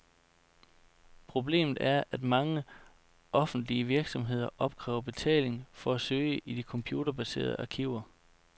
Problemet er, at mange offentlige virksomheder opkræver betaling for at søge i de computerbaserede arkiver.